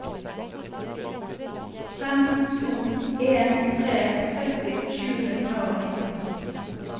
fem to en tre sytti sju hundre og nitten